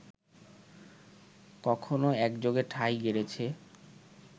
কখনো একযোগে ঠাঁই গেড়েছে